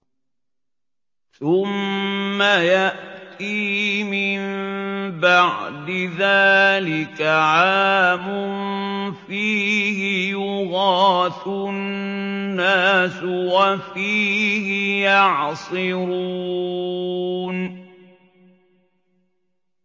ثُمَّ يَأْتِي مِن بَعْدِ ذَٰلِكَ عَامٌ فِيهِ يُغَاثُ النَّاسُ وَفِيهِ يَعْصِرُونَ